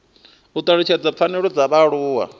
u talutshedza pfanelo dza vhaaluwa